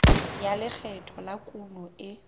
ya lekgetho la kuno e